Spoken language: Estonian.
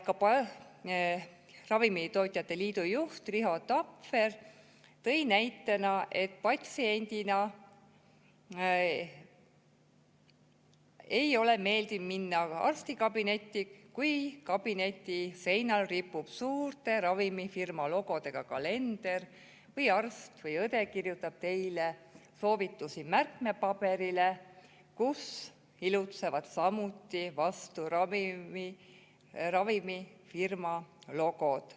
Ravimitootjate Liidu juht Riho Tapfer tõi näitena, et patsiendina ei ole meeldiv minna arstikabinetti, kui kabineti seinal ripub suurte ravimifirmade logodega kalender või kui arst või õde kirjutab teile soovitusi märkmepaberile, kus ilutsevad samuti mõne ravimifirma logod.